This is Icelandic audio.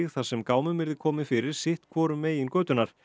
þar sem gámum yrði komið fyrir sitt hvorum megin götunnar